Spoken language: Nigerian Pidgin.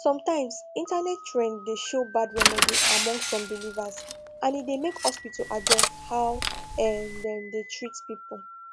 sometimes internet trend dey show bad remedy among some believers and e dey make hospital adjust how um dem dey treat people